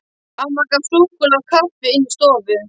Amma gaf súkkulaði og kaffi inni í stofu.